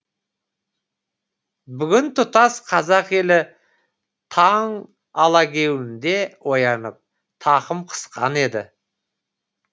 бүгін тұтас қазақ елі таң алагеуімде оянып тақым қысқан еді